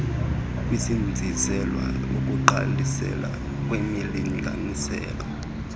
kuzinziselwa ukugqalisela kwimilinganiselo